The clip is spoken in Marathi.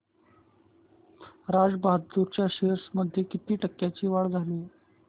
राजा बहादूर च्या शेअर्स मध्ये किती टक्क्यांची वाढ झाली